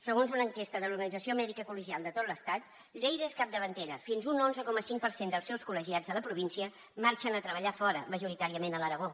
segons una enquesta de l’organització mèdica col·legial de tot l’estat lleida és capdavantera fins a un onze coma cinc per cent dels seus col·legiats de la província marxen a treballar fora majoritàriament a l’aragó